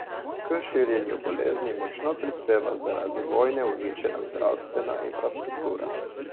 K širjenju bolezni močno prispeva zaradi vojne uničena zdravstvena infrastruktura.